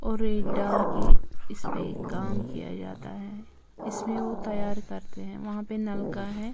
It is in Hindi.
और एक डाल के इस पे काम किया जाता है इसमें वो तैयार करते हैं वहां पे नलका है।